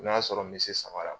N'o y'a sɔrɔ n bese samara